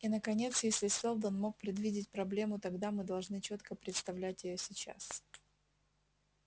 и наконец если сэлдон мог предвидеть проблему тогда мы должны чётко представлять её сейчас